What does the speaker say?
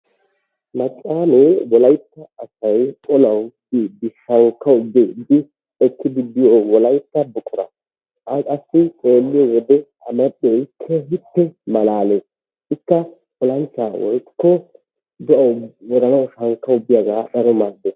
Maccaamee wolaytta asay olawu kiyiiddi shankkawu biiddi ekkidi biyo wolaytta buqura. A qassi xeelliyo wode a malkkee keehippe malaales. Ikka wolayttaa woykko do'aa woranawu shankkawu biyagaa keehippe maaddees.